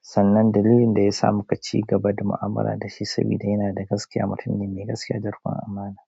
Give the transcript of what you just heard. Sannan dalilin da ya sa mu kaci gaba da mu'amala da shi sabida yana da gaskiya, mutum ne mai gaskiya da rikon amana.